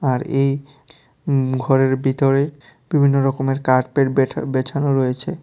আর এই উম ঘরের বিতরে বিভিন্নরকমের কার্পেট বেঠা-বেছানো রয়েছে।